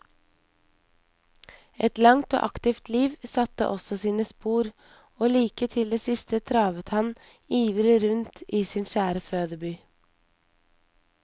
Et langt og aktivt liv satte også sine spor, og like til det siste travet han ivrig rundt i sin kjære fødeby.